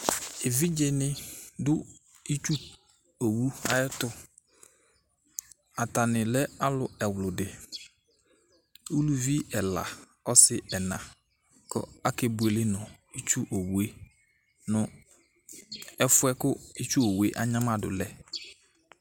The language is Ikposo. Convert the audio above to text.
Evidze ni du itsu wu ayɛ tu Atani lɛ alu ɛwludi, uluvi ɛla, ɔsi ɛlna kɔ ake buele nu itsu owue, nu ɛfuɛ ku itsu owue anyamadu lɛ